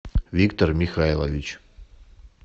виктор михайлович